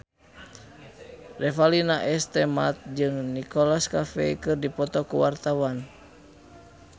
Revalina S. Temat jeung Nicholas Cafe keur dipoto ku wartawan